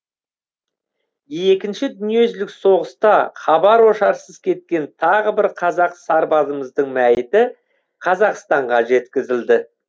екінші дүниежүзілік соғыста хабар ошарсыз кеткен тағы бір қазақ сарбазымыздың мәйіті қазақстанға жеткізілді